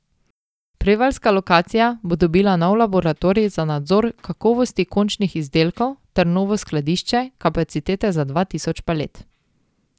Prevaljska lokacija bo dobila nov laboratorij za nadzor kakovosti končnih izdelkov ter novo skladišče, kapacitete za dva tisoč palet.